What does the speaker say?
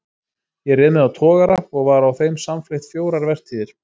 Ég réð mig á togara og var á þeim samfleytt fjórar vertíðir.